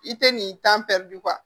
I tɛ nin